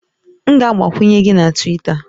M ga-agbakwunye gị na Twita